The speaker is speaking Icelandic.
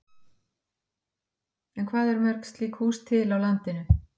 En hvað eru mörg slík hús til á landinu?